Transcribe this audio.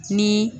Ni